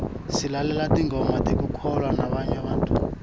silalela tingoma tekukholwa